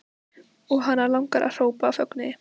Og hana langar að hrópa af fögnuði.